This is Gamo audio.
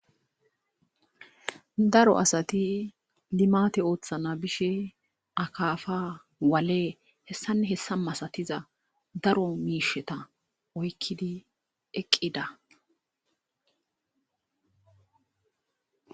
daro asati limate ooththana bishe akafa wale hessanne hessa masatiza daro miisheta oykkidi eqqida